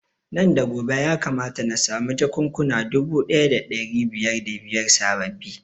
Nan da gobe ya kamata na samu jakunkuna dubu ɗaya da ɗari biyar da biyar sababbi